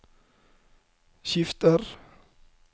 skifter